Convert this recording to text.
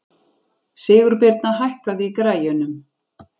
Sigurbirna, hækkaðu í græjunum.